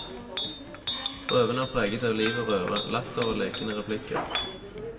Prøven er preget av liv og røre, latter og lekende replikker.